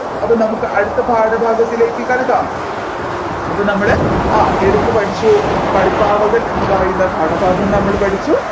അപ്പൊ നമ്മുക് അടുത്ത പാഠഭാഗത്തിലേക്ക് കടക്കാം അപ്പൊ നമ്മൾ ആ ഏതൊക്കെ പഠിച്ചു കളിപ്പാവകൾ എന്ന് പറയുന്ന പാഠഭാഗം നമ്മൾ പഠിച്ചു